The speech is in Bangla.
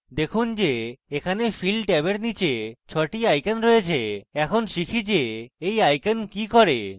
দেখুন যে এখানে fill ট্যাবের নীচে 6 the icons রয়েছে এখন শিখি যে এই icons কি করে